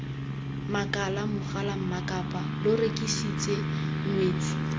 makala mogalammakapaa lo rekisitse ngwetsi